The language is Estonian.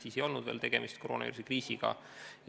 Siis ei olnud veel tegemist koroonaviiruse kriisiga.